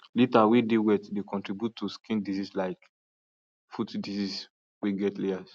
litter way dey wet dey contribute to skin disease like foot disease way get layers